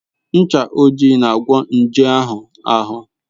Ncha ojii na-agwọ nje anụ ahụ.